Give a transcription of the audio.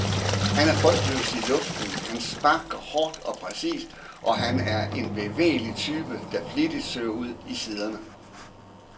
Han er frygtløs i luften, han sparker hårdt og præcist, og han er en bevægelig type, der flittigt søger ud i siderne.